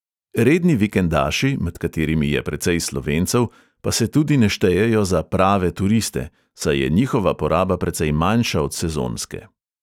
Redni vikendaši, med katerimi je precej slovencev, pa se tudi ne štejejo za "prave" turiste, saj je njihova poraba precej manjša od sezonske.